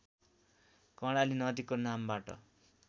कर्णाली नदीको नामबाट